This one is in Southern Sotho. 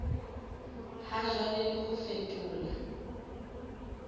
ha jwale le ho fetola